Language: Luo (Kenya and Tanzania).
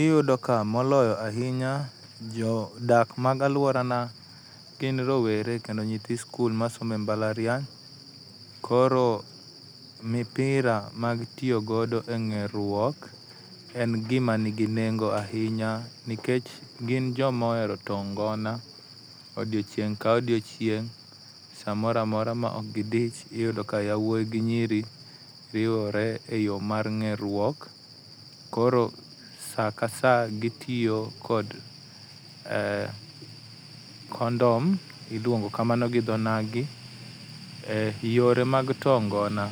Iyudo ka moloyo ahinya jodak mag aluorana gin rowere kendo nyithi sikul masomo e mbalariany koro mipira mag tiyo godo eng'eruok en gima nigi nengo ahinya nikech gin joma ohero too ngona, odiechieng' ka odiechieng' samoro amora maok gidich yudo ka yawuoyi yawuoyi gi nyiri riwore eyo mar ng'eruok, koro saa kasa gitiyo kod eh kondom iluongo kamano gi dho nagi. Yore mag too ngona